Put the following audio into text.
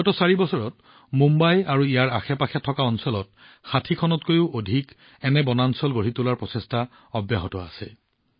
বিগত চাৰি বছৰত মুম্বাই আৰু ইয়াৰ আশেপাশে থকা অঞ্চলৰ ৬০খনতকৈও অধিক এনে বনাঞ্চলৰ কাম কৰা হৈছে